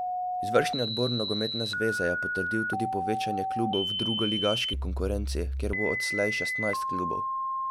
Izvršni odbor nogometne zveze je potrdil tudi povečanje klubov v drugoligaški konkurenci, kjer bo odslej šestnajst klubov.